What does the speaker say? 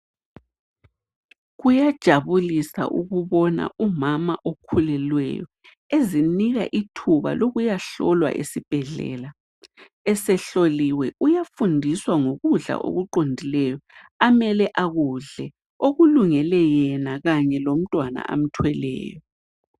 Kuyajabulisa ukubona umama okhulelweyo ezinika ithuba lokuyahlolwa esibhedlela . Esehloliwe uyafundiswa ngokudla okuqondileyo amele akudle okulungele yena kanye lomntwana amthweleyo.